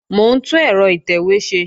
Mò ń tún ẹ̀rọ ìtẹ̀wé ṣe